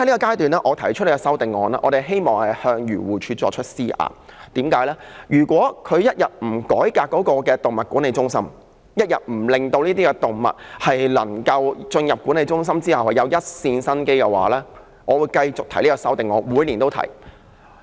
因此，我提出這項修正案，是希望向漁護署施壓，因為它一天不改革動物管理中心，一天不令這些進入管理中心的動物存有一線生機，我會繼續提出這項修正案，每年都會提出。